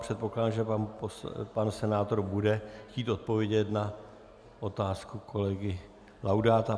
Předpokládám, že pan senátor bude chtít odpovědět na otázku kolegy Laudáta.